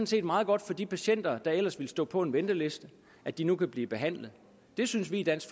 set meget godt for de patienter der ellers ville stå på en venteliste at de nu kan blive behandlet det synes vi i dansk